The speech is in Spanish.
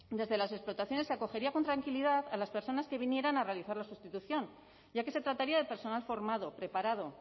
desde las explotaciones se acogería con tranquilidad a las personas que vinieran a realizar la sustitución ya que se trataría de personal formado preparado